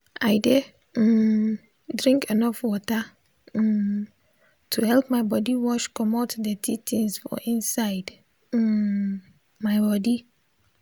i dey um drink enough water um to help my body wash comot dirty things for inside um my body